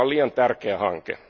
Tämä on liian tärkeä hanke.